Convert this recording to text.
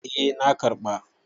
Eh na karɓa.